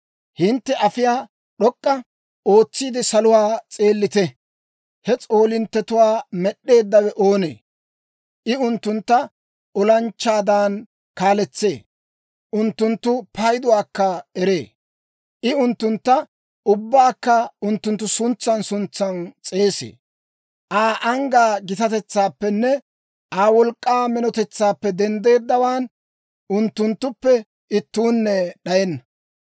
Hintte ayfiyaa d'ok'k'u ootsiide, saluwaa s'eellite; he s'oolinttetuwaa med'd'eeddawe oonee? I unttuntta olanchchaadan kaaletsee; unttunttu payduwaakka eree. I unttuntta ubbaakka unttunttu suntsan suntsan s'eesee. Aa anggaa gitatetsaappenne Aa wolk'k'aa minotetsaappe denddeeddawaan, unttunttuppe ittuunne d'ayenna.